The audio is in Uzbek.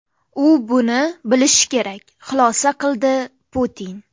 U buni bilishi kerak”, xulosa qildi Putin.